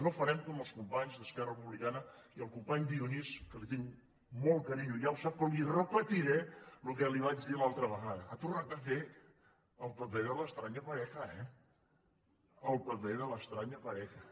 no farem com els companys d’esquerra republicana i el company dionís que li tinc molt carinyo ja ho sap però li repetiré el que li vaig dir l’altra vegada ha tornat a fer el paper de la extraña pareja eh el paper de la extraña parejade fons